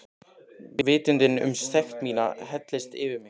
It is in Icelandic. Vitundin um sekt mína helltist yfir mig.